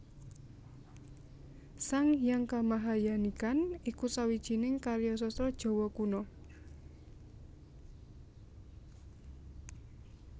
Sang Hyang Kamahayanikan iku sawijining karya sastra Jawa Kuna